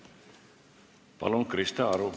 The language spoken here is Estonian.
Palun, Krista Aru!